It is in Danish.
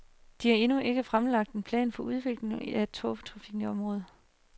De har endnu ikke fremlagt en plan for udviklingen af togtrafikken i området.